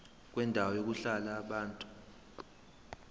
kwendawo yokuhlala yabantu